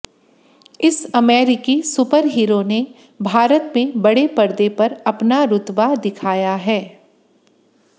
इस अमेरिकी सुपरहीरो भारत में बड़े परदे पर अपना रुतबा दिखाया है